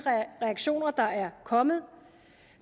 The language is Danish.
reaktioner der er kommet